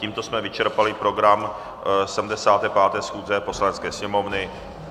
Tímto jsme vyčerpali program 75. schůze Poslanecké sněmovny.